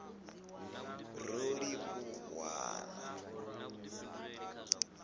rolivhuwan